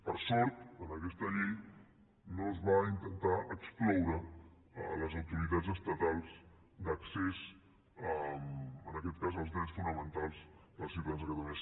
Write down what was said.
per sort en aquesta llei no es va intentar excloure les autoritats estatals d’accés en aquest cas als drets fonamentals dels ciutadans de catalunya